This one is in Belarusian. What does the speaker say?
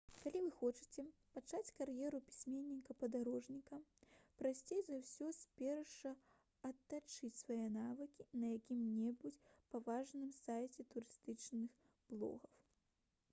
калі вы хочаце пачаць кар'еру пісьменніка-падарожніка прасцей за ўсё спярша адтачыць свае навыкі на якім-небудзь паважаным сайце турыстычных блогаў